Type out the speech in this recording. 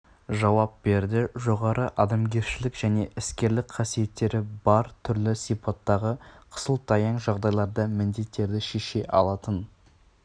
жауап берді жоғары адамгершілік және іскерлік қасиеттері бар түрлі сипаттағы қысылтаяң жағдайларда міндеттерді шеше алатын